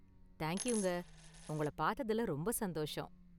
Thank யூங்க, உங்களை பார்த்ததுல ரொம்ப​ சந்தோஷம்.